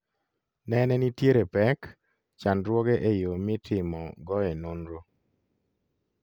Nene nitiere pek/chandruoge e yo mi timo goe nonro